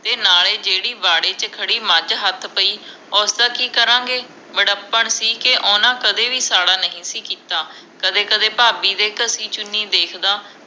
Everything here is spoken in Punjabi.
ਤੇ ਨਾਲੇ ਜੇੜ੍ਹੀ ਵਾਢੇ ਚ ਖੜੀ ਮੱਝ ਹੱਥ ਪਈ ਉਸ ਦਾ ਕਿ ਕਰਾਂ ਗੇ ਵਡੱਪਣ ਸੀ ਕਿ ਓਹਨਾ ਨੇ ਕਦੇ ਸਾਹੜਾ ਨਹੀਂ ਸੀ ਕੀਤਾ ਕਦੇ ਕਦੇ ਭਾਬੀ ਦੇ ਘਸੀ ਚੁੰਨੀ ਵੇਖਦਾ